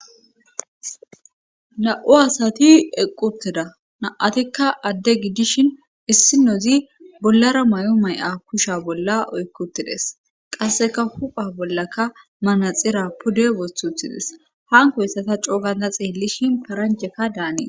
Na'u asati equtteda na7atikka adde gidishin issinozi bollara may7o may7a kusha bolla oykkuttides qasseka hupha bollaka manaxira pude wosthuthides hanko ssata cooganta xeellishin paranjheka daanii